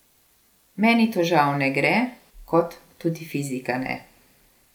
Meni to žal ne gre, kot tudi fizika ne.